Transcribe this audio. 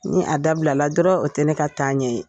Ni a dabilala dɔrɔn o tɛ ne ka taa ɲɛ ye.